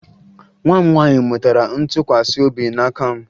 Nwa m nwaanyị mụtara ntụkwasị obi n'aka m